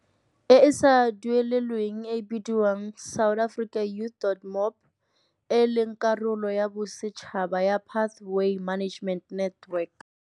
E e sa duelelweng e e bidiwang SAYouth.mobi, e e leng karolo ya bosetšhaba ya Pathway Management Network.